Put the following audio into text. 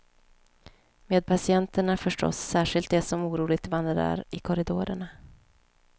Med patienterna förstås, särskilt de som oroligt vandrar i korridorerna.